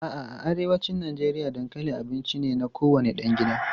A'a, a arewacin Najeriya dankali abinci ne na kowane ɗan gida.